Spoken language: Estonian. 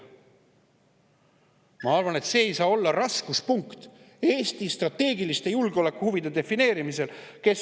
Ma arvan, et see, kes on seal Narvas võimul, ei saa olla raskuspunkt Eesti strateegiliste julgeolekuhuvide defineerimisel.